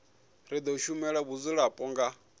ri do shumela vhadzulapo nga